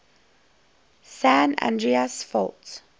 san andreas fault